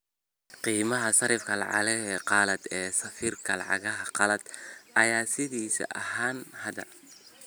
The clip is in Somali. Qiimaha sarifka lacagaha qalaad ee sarifka lacagaha qalaad ayaa sidiisii ​​ahaanaya hadda